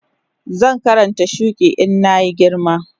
Zan Karanta shuki in na yi girma